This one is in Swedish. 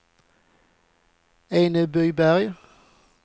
Enebyberg